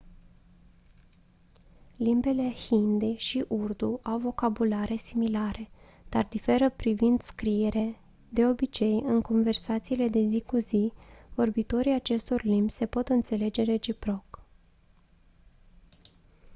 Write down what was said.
limbile hindi și urdu au vocabulare similare dar diferă privind scriere de obicei în conversațiile de zi cu zi vorbitorii acestor limbi se pot înțelege reciproc